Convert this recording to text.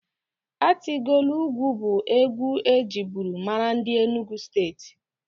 Atilogwu bụ egwu ejiburu mara ndị Enugu Steeti.